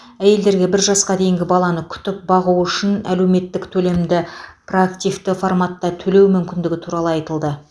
әйелдерге бір жасқа дейінгі баланы күтіп бағу үшін әлеуметтік төлемді проактивті форматта төлеу мүмкіндігі туралы айтылды